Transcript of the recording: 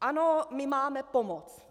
Ano, my máme pomoct.